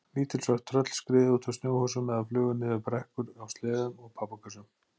Lítil svört tröll skriðu út úr snjóhúsum eða flugu niður brekkur á sleðum og pappakössum.